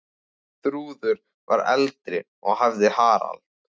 Þrúður var eldri og hafði Harald.